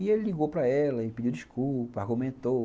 E ele ligou para ela e pediu desculpa, argumentou.